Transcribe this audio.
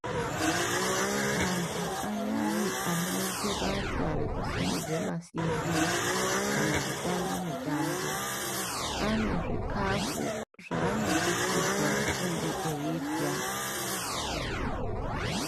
Antu ayani anoita basa rekusimudza masimbi kana kutamba mitambo ane zvikafu zvanosisirwa kunge eirya.